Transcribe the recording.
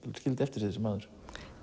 skildi eftir sig þessi maður